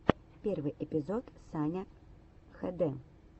первый эпизод саня хд